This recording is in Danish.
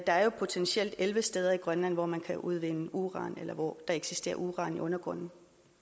der er potentielt elleve steder grønland hvor man kan udvinde uran eller hvor der eksisterer uran i undergrunden